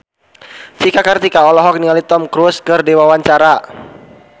Cika Kartika olohok ningali Tom Cruise keur diwawancara